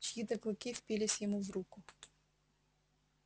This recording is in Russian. чьи то клыки впились ему в руку